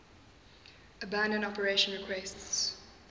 abandon operation requests